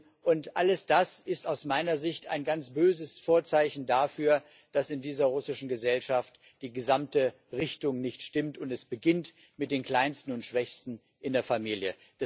Das alles ist aus meiner Sicht ein ganz böses Vorzeichen dafür, dass in dieser russischen Gesellschaft die gesamte Richtung nicht stimmt, und es beginnt mit den Kleinsten und Schwächsten in der Familie.